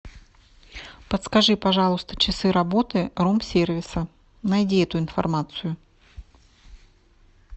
подскажи пожалуйста часы работы рум сервиса найди эту информацию